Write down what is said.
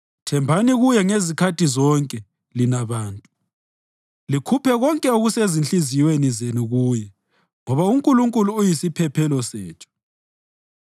Thembani kuye ngezikhathi zonke, lina bantu; likhuphe konke okusezinhliziyweni zenu kuye, ngoba uNkulunkulu uyisiphephelo sethu.